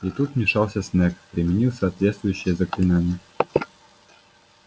и тут вмешался снегг применил соответствующее заклинание